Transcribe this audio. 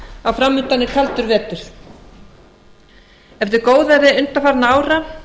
að framundan er kaldur vetur eftir góðæri undanfarinna ára